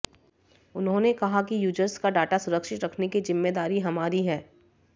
उन्होंने कहा कि यूजर्स का डाटा सुरक्षित रखने की जिम्मेदारी हमारी है